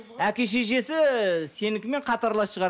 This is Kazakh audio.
әке шешесі сенікімен қатарлас шығар